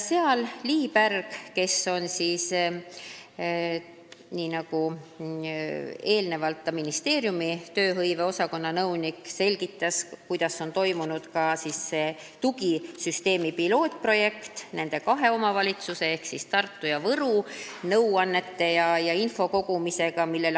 Ministeeriumi tööhõive osakonna nõunik Lii Pärg selgitas, kuidas on läinud tugisüsteemi katseprojektiga, nõuannete ja info kogumisega kahes omavalitsuses ehk Tartus ja Võrus.